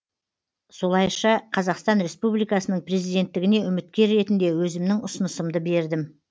солайша қазақстан республикасының президенттігіне үміткер ретінде өзімнің ұсынысымды бердім